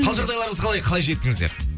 қал жағдайларыңыз қалай қалай жеттіңіздер